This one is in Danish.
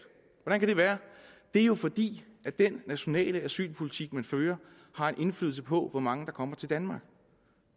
hvordan kan det være det er jo fordi den nationale asylpolitik man fører har en indflydelse på hvor mange der kommer til danmark